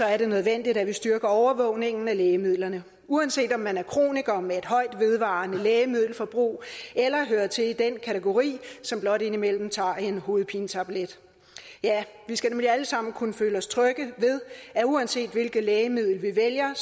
er det nødvendigt at vi styrker overvågningen af lægemidlerne uanset om man er kroniker med et højt og vedvarende lægemiddelforbrug eller man hører til i den kategori som blot indimellem tager en hovedpinetablet ja vi skal nemlig alle sammen kunne føle os trygge ved at uanset hvilket lægemiddel vi vælger